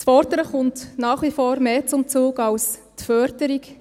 Das Fordern kommt nach wie vor mehr zum Zug als die Förderung.